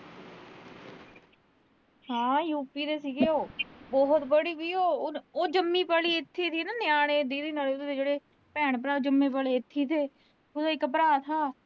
ਹਾਂ U. P. ਦੇ ਸੀਗੇ ਉਹ। ਬਹੁਤ ਬੜੀ ਸੀ। ਉਹ ਜੰਮੀ ਪਲੀ ਇਥੀ ਸੀ ਨਾ, ਨਿਆਣੇ ਜਿਹੜੇ ਭੈਣ-ਭਰਾ ਜੰਮੇ ਪਲੇ ਇਥੇ ਈ ਤੇ ਉਹ। ਉਹਦਾ ਇੱਕ ਭਰਾ ਥਾ